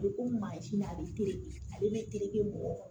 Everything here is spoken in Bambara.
A bɛ komi mansin na a bɛ to yen ale bɛ tereke mɔgɔ